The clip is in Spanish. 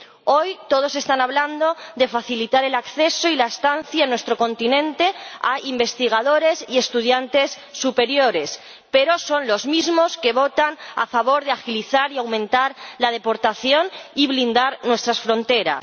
Hoy, todos están hablando de facilitar el acceso y la estancia en nuestro continente a investigadores y estudiantes superiores, pero son los mismos que votan a favor de agilizar y aumentar la deportación y blindar nuestras fronteras.